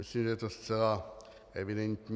Myslím, že je to zcela evidentní.